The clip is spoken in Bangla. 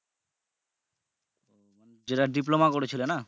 যেটা diploma করেছিলে না?